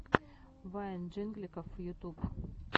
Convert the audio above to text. вайн джингликов ютуб